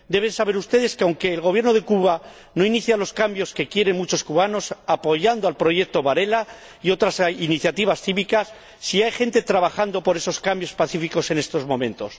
Deben saber ustedes que aunque el Gobierno de Cuba no inicia los cambios que quieren muchos cubanos apoyando el Proyecto Varela y otras iniciativas cívicas, sí hay gente trabajando por esos cambios pacíficos en estos momentos.